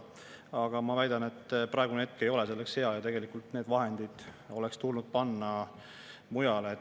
Aga ma väidan, et praegune hetk ei ole selleks hea ja tegelikult need vahendid oleks tulnud panna mujale.